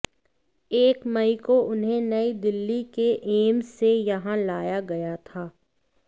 एक मई को उन्हें नई दिल्ली के एम्स से यहां लाया गया था